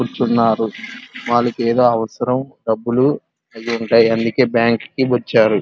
కూర్చున్నారు. వాళ్ళకి ఏదో అవసరం డబ్బులు అయ్యుంటే అందుకే బ్యాంకు కి వచ్చారు.